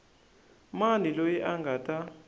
mani loyi a nga ta